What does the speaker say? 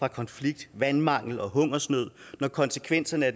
af konflikter vandmangel og hungersnød når konsekvenserne af